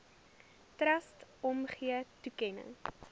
trust omgee toekenning